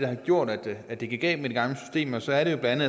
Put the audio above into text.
har gjort at det at det gik galt med de gamle systemer så er det jo blandt